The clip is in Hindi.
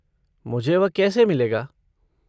मुझे वह कैसे मिलेगा?